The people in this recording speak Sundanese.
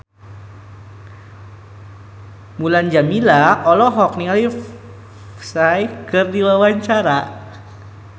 Mulan Jameela olohok ningali Psy keur diwawancara